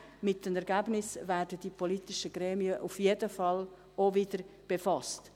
mit den Ergebnissen werden die politischen Gremien auf jeden Fall auch wieder befasst.